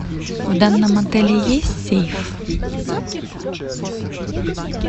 в данном отеле есть сейф